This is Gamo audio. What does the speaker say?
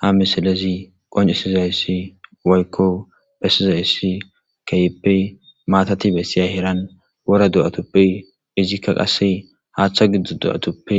Ha misilezi qoncisizayssi woykko bessizayssi keehippe matati bessiya heeran wora do7atuppe izikka qasse haaththa giddo do7atuppe